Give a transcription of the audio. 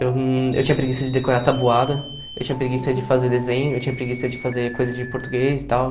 Eu eu tinha preguiça de decorar tabuada, eu tinha preguiça de fazer desenho, eu tinha preguiça de fazer coisa de português e tal.